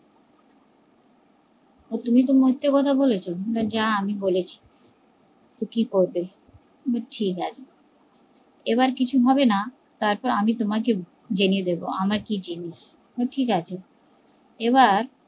তো তুমি তো মিথ্যা কথা বলেছো যা আমি বলেছি কি করবি, বলে ঠিকাছে, আবার কিছু হবে না তারপর আমি তোমাকে জেনে দেব আমি কি জিনিস বলে ঠিক আছে এবার